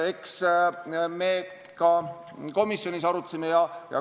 Eks me ka komisjonis arutasime.